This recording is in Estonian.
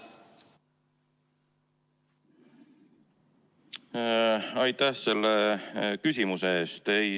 Aitäh selle küsimuse eest!